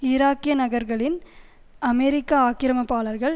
ஈராக்கிய நகர்களின் அமெரிக்க ஆக்கிரமிப்பாளர்கள்